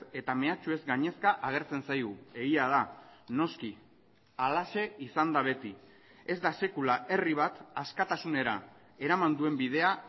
eta mehatxuez gainezka agertzen zaigu egia da noski halaxe izan da beti ez da sekula herri bat askatasunera eraman duen bidea